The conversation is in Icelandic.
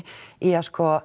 í að